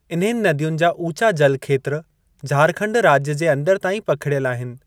इन्हनि नदियुनि जा ऊचा जलखेत्र झारखंड राज्य जे अंदरि ताईं पखिड़ियल आहिनि।